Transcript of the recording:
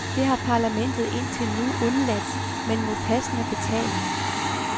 Det har parlamentet indtil nu undladt, men mod passende betaling.